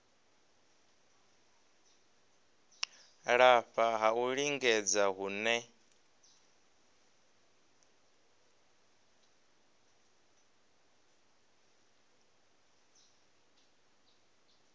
lafha ha u lingedza hune